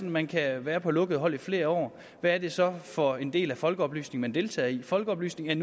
at man kan være på lukkede hold i flere år hvad er det så for en del af folkeoplysningen man deltager i folkeoplysningen